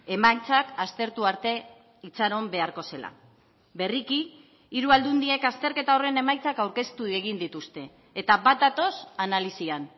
emaitzak aztertu arte itxaron beharko zela berriki hiru aldundiek azterketa horren emaitzak aurkeztu egin dituzte eta bat datoz analisian